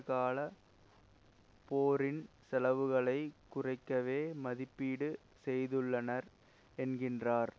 கால போரின் செலவுகளை குறைவாகவே மதிப்பீடு செய்துள்ளனர் என்கின்றார்